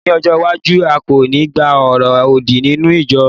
ní ọjọ iwaju, a ko ni gba oro odi ninu ijọ